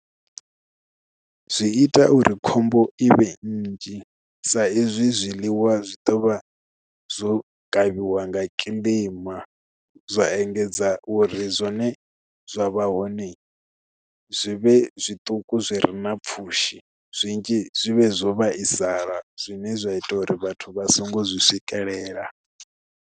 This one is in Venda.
Zwi ita uri khombo ivhe nnzhi sa izwi zwiḽiwa zwi ḓovha zwo kavhiwa nga kiḽima zwa engedza uri zwi zwine zwavha hone zwi vhe zwituku zwi re na pfhushi zwinzhi zwi vhe zwo vhaisala zwine zwa ita uri vhathu vha songo zwi swikelela.